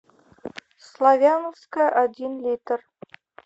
славяновская один литр